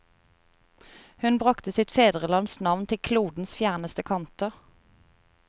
Hun brakte sitt fedrelands navn til klodens fjerneste kanter.